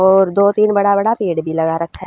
और दो तीन बड़ा बड़ा पेड़ भी लगा रखा ह।